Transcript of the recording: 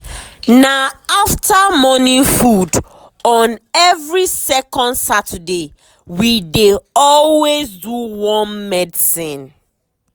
na after morning food on every second saturday we dey always do worm medicine.